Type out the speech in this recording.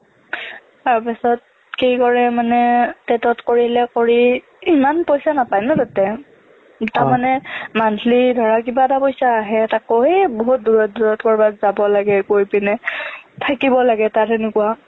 তাৰপিছত কি কৰে মানে TET ত কৰিলে কৰি ইমান পইচা নাপাই ন তাতে তাৰমানে monthly ধৰা কিবা এটা পইচা আহে তাকো এই বহুত দূৰত দূৰত ক'ৰবাত যাব লাগে গৈ পিনে থাকিব লাগে তাত এনেকুৱা